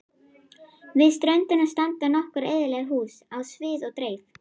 Við ströndina standa nokkur eyðileg hús á víð og dreif.